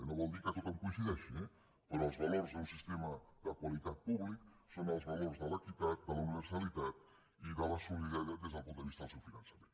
no vol dir que tothom hi coincideixi eh però els valors d’un sistema de qualitat públic són els valors de l’equitat de la universalitat i de la solidaritat des del punt de vista del seu finançament